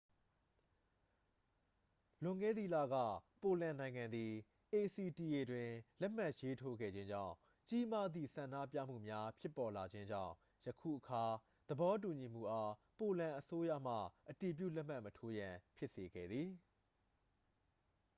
လွန်ခဲ့သည့်လက ပိုလန်နိုင်ငံသည် acta တွင် လက်မှတ်ရေးထိုးခဲ့ခြင်းကြောင့် ကြီးမားသည့် ဆန္ဒပြမှုများ ဖြစ်ပေါ်လာခြင်းကြောင့် ယခုအခါ သဘောတူညီမှုအား ပိုလန်အစိုးရမှ အတည်ပြုလက်မှတ်မထိုးရန် ဖြစ်စေခဲ့သည်